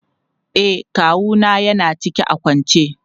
E, kawu na ya na ciki a kwance.